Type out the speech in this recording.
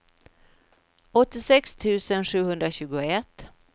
åttiosex tusen sjuhundratjugoett